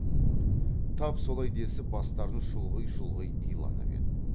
тап солай десіп бастарын шұлғи шұлғи иланып еді